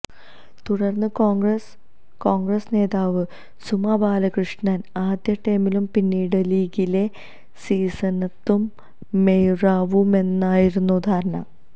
തുടര്ന്ന് Congress Congress നേതാവ് സുമാ ബാലകൃഷ്ണന് ആദ്യടേമിലും പിന്നീട് ലീഗിലെ സി സീനത്തും മേയറാവുമെന്നായിരുന്നു ധാരണ